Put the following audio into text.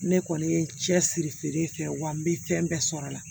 Ne kɔni ye cɛsiri feere kɛ wa n bɛ fɛn bɛɛ sɔrɔ a la